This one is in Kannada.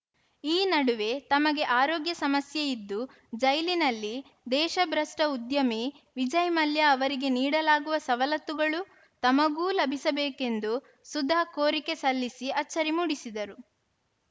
ಈ ನಡುವೆ ತಮಗೆ ಆರೋಗ್ಯ ಸಮಸ್ಯೆ ಇದ್ದು ಜೈಲಿನಲ್ಲಿ ದೇಶಭ್ರಷ್ಟಉದ್ಯಮಿ ವಿಜಯ್‌ ಮಲ್ಯ ಅವರಿಗೆ ನೀಡಲಾಗುವ ಸವಲತ್ತುಗಳು ತಮಗೂ ಲಭಿಸಬೇಕೆಂದು ಸುಧಾ ಕೋರಿಕೆ ಸಲ್ಲಿಸಿ ಅಚ್ಚರಿ ಮೂಡಿಸಿದರು